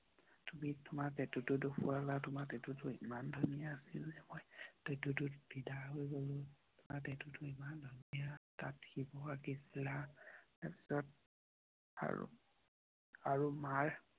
তুমি তোমাৰ পেটো টো দেখিওলা। তোমাৰ পেঁটো টো ইমান ধুনীয়া আছিল। যে মই পেটু টোত ফিদা হৈ গলোঁ।